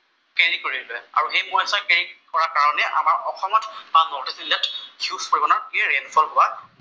Carry কৰে যে আৰু সেই মইচতৰ কেৰি কৰা কাৰণে আমাৰ অসমত আন ৰাজ্যতকে হিউজ পৰিমাণৰ ৰেইন ফল হোৱা দেখা যায়।